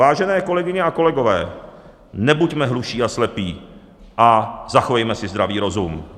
Vážené kolegyně a kolegové, nebuďme hluší a slepí a zachovejme si zdravý rozum.